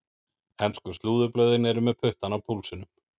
Ensku slúðurblöðin eru með puttann á púlsinum.